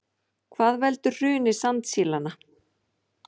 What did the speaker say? Hvað veldur hruni sandsílanna